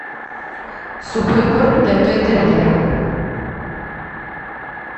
сухой корм для той терьера